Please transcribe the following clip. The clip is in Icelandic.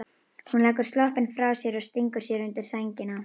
Hún leggur sloppinn frá sér og stingur sér undir sængina.